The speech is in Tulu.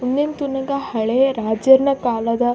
ಉಂದೆನ್ ತೂನಗ ಹಳೇ ರಾಜೆರ್ನ ಕಾಲದ.